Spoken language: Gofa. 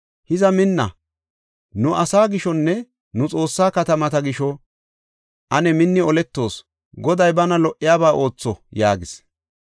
Hiza minna! Nu asaa gishonne nu Xoossaa katamata gisho, ane minni oletoos. Goday bana lo77iyaba ootho” yaagis.